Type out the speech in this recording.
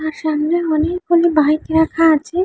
আর সামনে অনেক গুলো বাইক রাখা আছে।